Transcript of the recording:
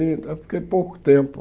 Eu eu fiquei pouco tempo.